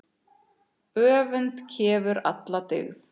Öfund kefur alla dyggð.